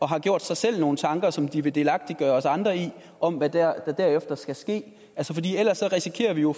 har gjort sig nogle tanker som de vil delagtiggøre os andre i om hvad der derefter skal ske ellers risikerer vi jo